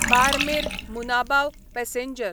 Barmer Munabao passenger